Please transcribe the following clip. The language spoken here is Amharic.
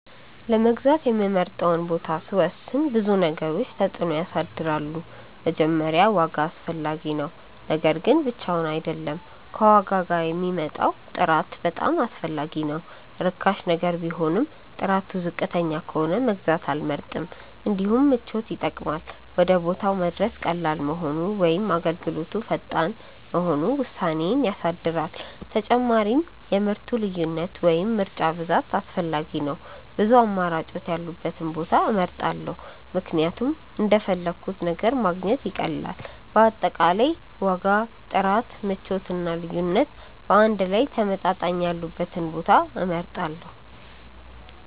ለመግዛት የምመርጠውን ቦታ ሲወስን ብዙ ነገሮች ተጽዕኖ ያሳድራሉ። መጀመሪያ ዋጋ አስፈላጊ ነው፤ ነገር ግን ብቻውን አይደለም፣ ከዋጋ ጋር የሚመጣው ጥራት በጣም አስፈላጊ ነው። ርካሽ ነገር ቢሆንም ጥራቱ ዝቅተኛ ከሆነ መግዛት አልመርጥም። እንዲሁም ምቾት ይጠቅማል፤ ወደ ቦታው መድረስ ቀላል መሆኑ ወይም አገልግሎቱ ፈጣን መሆኑ ውሳኔዬን ያሳድራል። ተጨማሪም የምርቱ ልዩነት ወይም ምርጫ ብዛት አስፈላጊ ነው፤ ብዙ አማራጮች ያሉበትን ቦታ እመርጣለሁ ምክንያቱም እንደፈለግሁት ነገር ማግኘት ይቀላል። በአጠቃላይ ዋጋ፣ ጥራት፣ ምቾት እና ልዩነት በአንድ ላይ ተመጣጣኝ ያሉበትን ቦታ እመርጣለሁ።